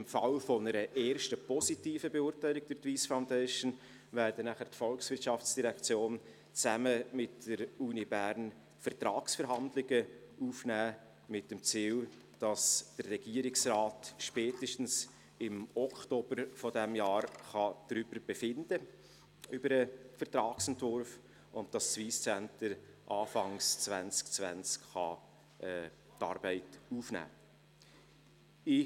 Im Falle einer ersten positiven Beurteilung durch die Wyss Foundation wird danach die VOL zusammen mit der Universität Bern Vertragsverhandlungen aufnehmen, mit dem Ziel, dass der Regierungsrat spätestens im Oktober dieses Jahrs über den Vertragsentwurf befinden und dass das Wyss Centre Anfang 2020 die Arbeit aufnehmen kann.